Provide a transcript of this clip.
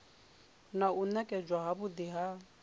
na u nekedzwa havhui ha